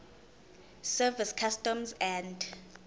service customs and